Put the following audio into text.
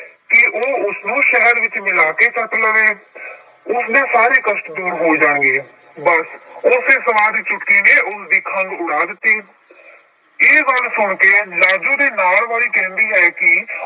ਕਿ ਉਹ ਉਸਨੂੰ ਸ਼ਹਿਦ ਵਿੱਚ ਮਿਲਾ ਕੇ ਚੱਟ ਲਵੇ ਉਸਦੇ ਸਾਰੇ ਕਸ਼ਟ ਦੂਰ ਹੋ ਜਾਣਗੇ, ਬਸ ਉਸੇ ਸਵਾਹ ਦੀ ਚੁਟਕੀ ਨੇ ਉਸਦੀ ਖੰਘ ਉਡਾ ਦਿੱਤੀ ਇਹ ਗੱਲ ਸੁਣਕੇ ਲਾਜੋ ਦੇ ਨਾਲ ਵਾਲੀ ਕਹਿੰਦੀ ਹੈ ਕਿ